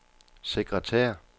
sekretær